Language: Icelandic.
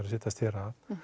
að setjast hér að